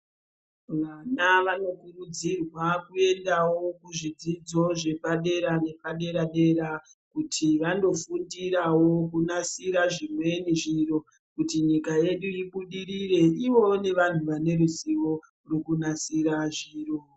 Vana vanokurudzirwa kuendawo kuzvidzidzo zvepadera nepadera dera kuti vandofundirawo kunasira zvimweni zviro kuti nyika yedu ibudirire ivowo nevantu vane ruzivo rekunasira zviro.